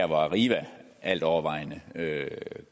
hvor arriva altovervejende